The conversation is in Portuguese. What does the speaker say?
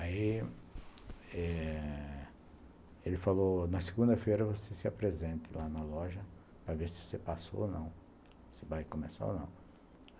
Aí eh ele falou, na segunda-feira você se apresente lá na loja para ver se você passou ou não, se vai começar ou não.